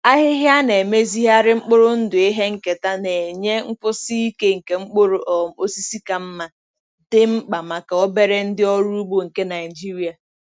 Ahịhịa a na-emezigharị mkpụrụ ndụ ihe nketa na-enye nkwụsi ike nke mkpụrụ um osisi ka mma, dị mkpa maka obere ndị ọrụ ugbo nke Nigeria.